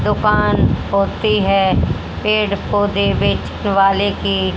दुकान होती है पेड़ पौधे बेचने वाले की--